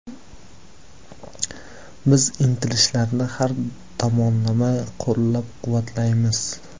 Biz intilishlarni har tomonlama qo‘llab-quvvatlaymiz.